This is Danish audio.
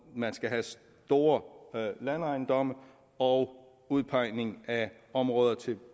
man skal have store landejendomme og udpegning af områder til